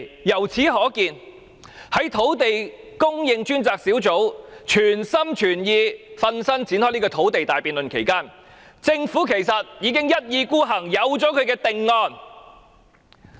由此可見，在專責小組全心全意展開土地大辯論期間，政府原來已一意孤行，早有定案。